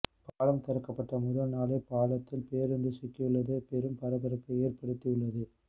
பாலம் திறக்கப்பட்ட முதல் நாளே பாலத்தில் பேருந்து சிக்கியுள்ளது பெரும் பரபரப்பை ஏற்படுத்தி உள்ளது